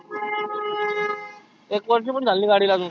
एक वर्ष पण झाले नाही गाडीला आजुन.